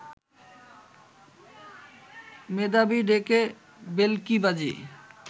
মেধাবী ডেকে ভেলকিবাজি